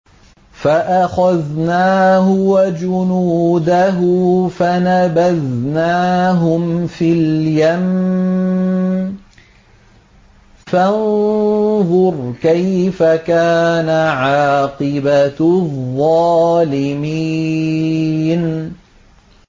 فَأَخَذْنَاهُ وَجُنُودَهُ فَنَبَذْنَاهُمْ فِي الْيَمِّ ۖ فَانظُرْ كَيْفَ كَانَ عَاقِبَةُ الظَّالِمِينَ